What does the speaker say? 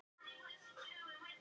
Þær á ég náttúrlega ekki.